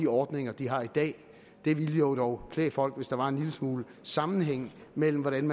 ordninger de har i dag det ville jo dog klæde folk hvis der var en lille smule sammenhæng mellem hvordan